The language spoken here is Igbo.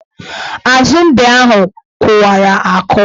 Azu mbe ahụ kụwara akụwa.